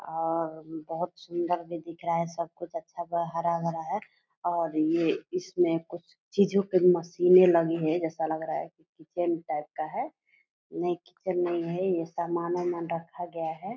और बहुत सुन्दर भी दिख रहा है सब कुछ अच्छा हरा-भरा है और ये इसमें कुछ चीजों के मशीने लगी हैं जैसा लग रहा है कि किचन टाइप का है नहीं किचन नहीं है ये समान उमान रखा गया है।